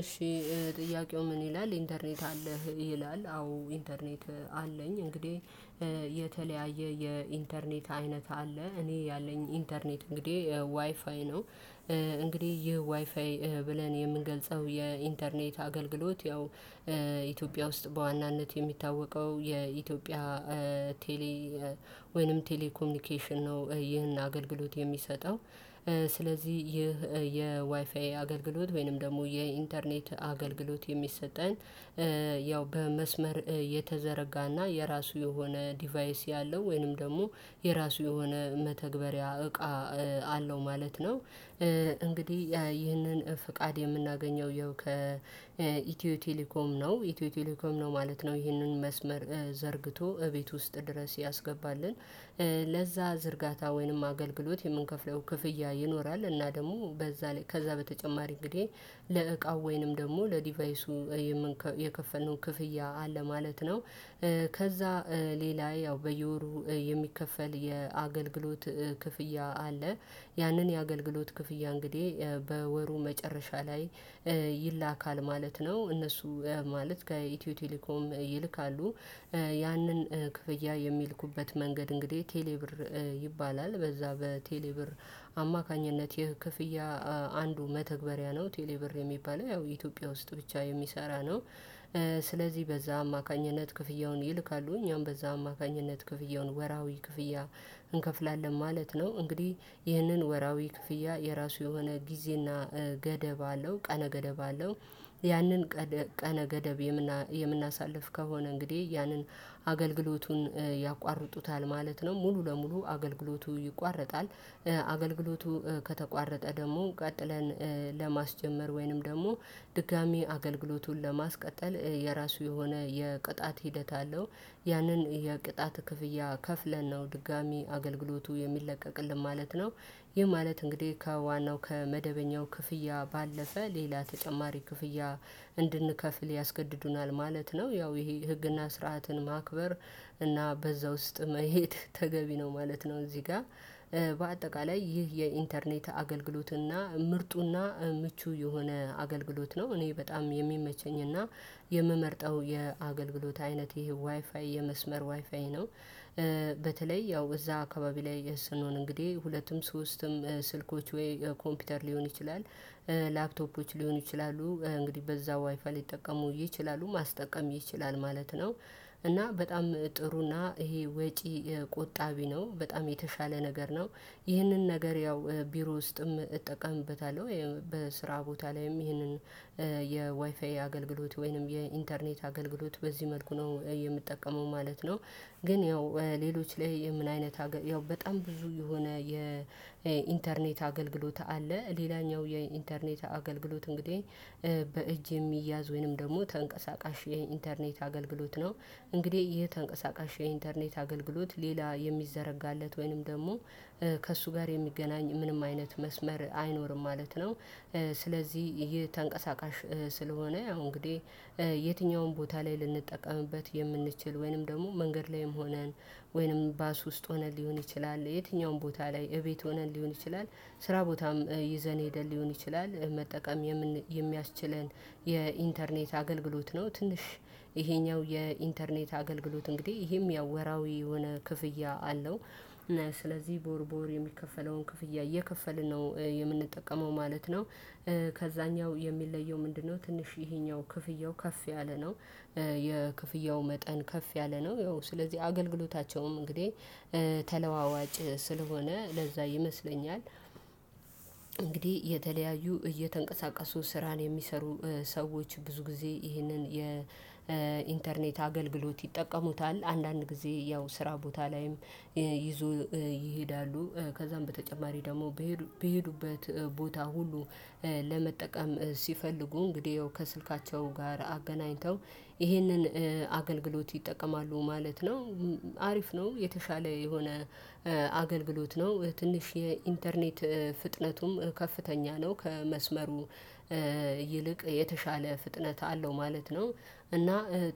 እሺ ጥያቄው ምን ይላል ኢንተርኔት አለህ ይላል? አዎ ኢንተርኔት አለኝ። እንግዲህ የተለያየ የኢንተርኔት አይነት አለ እኔ ያለኝ ኢንተርኔት እንግዲህ ዋይፋይ ነው። እንግዲህ ይህ ዋይፋይ ብለን የምንገልጸው የኢንተርኔት አገልግሎት ያው ኢትዮጵያ ውስጥ በዋናነት የሚታወቀው የኢትዮጵያ ቴሌ ወይንም ቴሌ ኮሚኒኬሽን ነው። ይህን አገልግሎት የሚሰጠው ስለዚህ ይህ የዋይፋይ አገልግሎት ወይንም ደግሞ የኢንተርኔት አገልግሎት የሚሰጠን። ያው በመስመር የተዘረጋና የራሱ የሆነ ዲቫይስ ያለው ወይንም ደግሞ የራሱ የሆነ መተግበሪያ እቃ አለው ማለት ነው። ይህንን ፍቃድ የምናገኘው ይኸው ከኢትዮ ቴሌኮም ነው ኢትዮ ቴሌኮም ነው ማለት ነው። ይህንን መስመር ዘርግቶ እቤት ውስጥ ድረስ ያስገባልን። ለዛ ዝርጋታ ወይንም አገልግሎት የምንከፍለው ክፍያ ይኖራል እና ደግሞ በዛ ላይ ከዛ በተጨማሪ እንግዲህ ለእቃው ወይንም ደግሞ ለዲቫይሱ የከፈልነው ክፍያ አለ ማለት ነው። ከዛ ሌላ ያው በየወሩ የሚከፈል የአገልግሎት ክፍያ አለ። ያንን የአገልግሎት ክፍያ እንግዲህ በወሩ መጨረሻ ላይ ይላካል ማለት ነው። እነሱ ማለት ከኢትዮ ቴሌኮም ይልካሉ። ያንን ክፍያ የሚልኩበት መንገድ እንግዲህ ቴሌ ብር ይባላል። በዛ በቴሌ ብር አማካኝነት ይህ ክፍያ አንዱ መተግበሪያ ነው ቴሌ ብር የሚባለው ያው የኢትዮጵያ ውስጥ ብቻ የሚሰራ ነው። ስለዚህ በዛ አማካኝነት ክፍያውን ይልካሉ እኛም በዛ አማካኝነት ክፍያውን ወርሃዊ ክፍያ እንከፍላለን ማለት ነው። እንግዲህ ይህንን ወርሃዊ ክፍያ የራሱ የሆነ ጊዜና ገደብ አለው ቀነ ገደብ አለው። ያንን ቀነ ገደብ የምናሳልፍ ከሆነ እንግዲህ ያንን አገልግሎቱን ያቋርጡታል ማለት ነው። ሙሉ ለሙሉ አገልግሎቱ ይቋረጣል። አገልግሎቱ ከተቋረጠ ደግሞ ቀጥለን ለማስጀመር ወይንም ደግሞ ድጋሚ አገልግሎቱን ለማስቀጠል የራሱ የሆነ የቅጣት ሂደት አለው። ያንን የቅጣት ክፍያ ከፍለን ነው ድጋሚ አገልግሎቱ የሚለቀቅልን ማለት ነው። ይህ ማለት እንግዲህ ከዋናው ከመደበኛው ክፍያ ባለፈ ሌላ ተጨማሪ ክፍያ እንድንከፍል ያስገድዱናል ማለት ነው። ያው ይሄ ህግና ስርዓትን ማክበር እና በዛ ውስጥ መሄድ ተገቢ ነው ማለት ነው። እዚህ ጋር በአጠቃላይ ይህ የኢንተርኔት አገልግሎትና ምርጡና ምቹ የሆነ አገልግሎት ነው። እኔ በጣም የሚመቸኝና የምመርጠው የአገልግሎት አይነት ይሄ ዋይፋይ የመስመር ዋይፋይ ነው። በተለይ ያው እዛ አካባቢ ላይ ስንሆን እንግዲህ ሁለቱም ሶስቱም ስልኮች ወይ ኮምፒውተር ሊሆን ይችላል ላፕቶፖች ሊሆኑ ይችላሉ እንግዲህ በዛ ዋይፋይ ሊጠቀሙ ይችላሉ ማስጠቀም ይችላል ማለት ነው። እና በጣም ጥሩና ይሄ ወጪ ቆጣቢ ነው በጣም የተሻለ ነገር ነው። ይህንን ነገር ያው ቢሮ ውስጥም እጠቀምበታለሁ። በስራ ቦታ ላይም ይህንን የዋይፋይ አገልግሎት ወይንም የኢንተርኔት አገልግሎት በዚህ መልኩ ነው የምጠቀመው ማለት ነው። ግን ያው ሌሎች ላይ ምን አይነት ያው በጣም ብዙ የሆነ የኢንተርኔት አገልግሎት አለ። ሌላኛው የኢንተርኔት አገልግሎት እንግዲህ በእጅ የሚያዝ ወይንም ደግሞ ተንቀሳቃሽ የኢንተርኔት አገልግሎት ነው። እንግዲህ ይሄ ተንቀሳቃሽ የኢንተርኔት አገልግሎት ሌላ የሚዘረጋለት ወይንም ደግሞ ከእሱ ጋር የሚገናኝ ምንም አይነት መስመር አይኖርም ማለት ነው። ስለዚህ ይሄ ተንቀሳቃሽ ስለሆነ ያው እንግዲህ የትኛውም ቦታ ላይ ልንጠቀምበት የምንችል ወይንም ደግሞ መንገድ ላይም ሆነን ወይንም ባስ ውስጥ ሆነን ሊሆን ይችላል የትኛውም ቦታ ላይ እቤት ሆነን ሊሆን ይችላል ስራ ቦታም ይዘን ሄደን ሊሆን ይችላል መጠቀም የሚያስችለን የኢንተርኔት አገልግሎት ነው። ትንሽ ይሄኛው የኢንተርኔት አገልግሎት እንግዲህ ይሄም ያው ወርሃዊ የሆነ ክፍያ አለው። ስለዚህ ቦወርወር የሚከፈለውን ክፍያ እየከፈልን ነው የምንጠቀመው ማለት ነው። ከዛኛው የሚለየው ምንድነው? ትንሽ ይሄኛው ክፍያው ከፍ ያለ ነው። የክፍያው መጠን ከፍ ያለ ነው ያው ስለዚህ አገልግሎታቸውም እንግዲህ ተለዋዋጭ ስለሆነ ለዛ ይመስለኛል። እንግዲህ የተለያዩ እየተንቀሳቀሱ ስራን የሚሰሩ ሰዎች ብዙ ጊዜ ይህንን የኢንተርኔት አገልግሎት ይጠቀሙታል። አንዳንድ ጊዜ ያው ስራ ቦታ ላይም ይዞ ይሄዳሉ። ከዛም በተጨማሪ ደግሞ በሄዱበት ቦታ ሁሉ ለመጠቀም ሲፈልጉ እንግዲህ ያው ከስልካቸው ጋር አገናኝተው ይህንን አገልግሎት ይጠቀማሉ ማለት ነው። አሪፍ ነው የተሻለ የሆነ አገልግሎት ነው። ትንሽ የኢንተርኔት ፍጥነቱም ከፍተኛ ነው። ከመስመሩ ይልቅ የተሻለ ፍጥነት አለው ማለት ነው። እና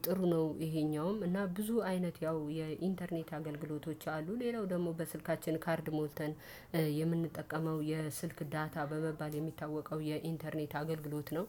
ጥሩ ነው። ይሄኛውም እና ብዙ አይነት ያው የኢንተርኔት አገልግሎቶች አሉ። ሌላው ደግሞ በስልካችን ካርድ ሞልተን የምንጠቀመው የስልክ ዳታ በመባል የሚታወቀው የኢንተርኔት አገልግሎት ነው